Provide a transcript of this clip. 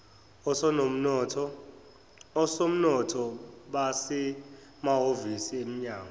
osomnotho basemahhovisi eminyango